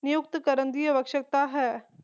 ਨਿਯੁਕਤ ਕਰਨ ਦੀ ਆਵਸ਼ਕਤਾ ਹੈ